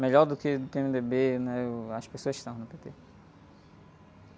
Melhor do que do pê-eme-dê-bê, né? E, uh, as pessoas estão no pê-tê.